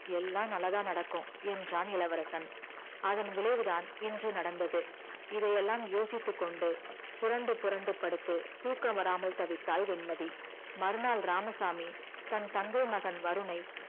எல்லாம் நல்லாதா நடக்கும் என்றான் இளவரசன் அதன் விளைவுதான் இன்று நடந்தது இதை எல்லாம் யோசித்துக்கொண்டு புறண்டு புறண்டு படுத்து தூக்கம் வராமல் தவித்தாள் வெண்மதி மறுநாள் இராமசாமி தன் தங்கை மகன் வருணை